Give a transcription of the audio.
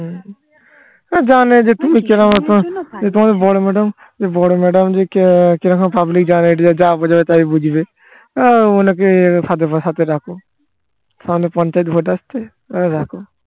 হম জানে যে তুমি কিরকম তোমাদের বড়ো madam বড়ো madam যে কি রকম public জানে এনাকে যা বোঝাবে তাই বুঝবে এ ওনাকে হাতে রাখো সামনে পঞ্চায়েত vote আসছে এ রাখো